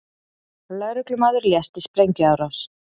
Lögreglumaður lést í sprengjuárás